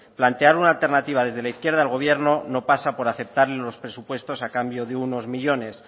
plantear una alternativa desde la izquierda al gobierno no pasa por aceptar los presupuestos a cambio de unos millónes